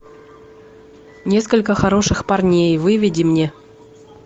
несколько хороших парней выведи мне